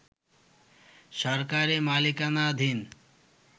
সরকারি মালিকানাধীন